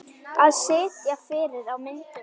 Að sitja fyrir á myndum?